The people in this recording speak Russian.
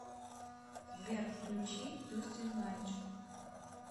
сбер включи дустин ланч